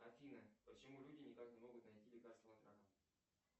афина почему люди никак не могут найти лекарство от рака